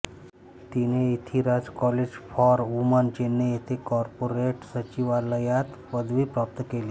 तिने Ethiraj college for woman Chennai येथे corporate सचिवालयात पदवी प्राप्त केली